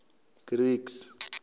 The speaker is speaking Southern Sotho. greeks